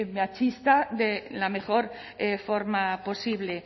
machista de la mejor forma posible